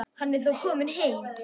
Hann er þó kominn heim.